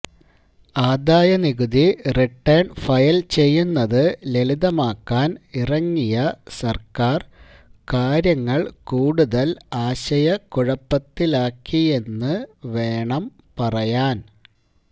ആദായനികുതി return file ചെയ്യുന്നത് ലളിതമാക്കാൻ ഇറങ്ങിയ സർക്കാർ കാര്യങ്ങൾ കൂടുതൽ ആശയകുഴപ്പത്തിലാക്കിയെന്ന് വേണം പറയാൻ